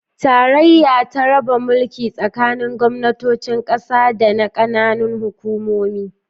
Tarayya ta raba mulki tsakanin gwamnatocin kasa da na kananan hukumomi.